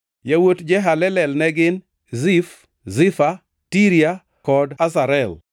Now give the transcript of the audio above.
Yawuot Jehalelel ne gin: Zif, Zifa, Tiria kod Asarel.